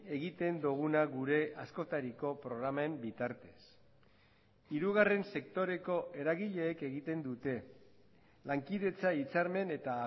egiten duguna gure askotariko programen bitartez hirugarren sektoreko eragileek egiten dute lankidetza hitzarmen eta